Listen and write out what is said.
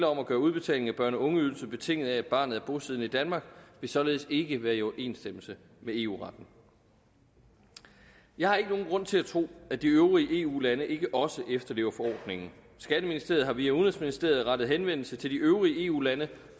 om at gøre udbetalingen af børne og ungeydelse betinget af at barnet er bosiddende i danmark vil således ikke være i overensstemmelse med eu retten jeg har ikke nogen grund til at tro at de øvrige eu lande ikke også efterlever forordningen skatteministeriet har via udenrigsministeriet rettet henvendelse til de øvrige eu lande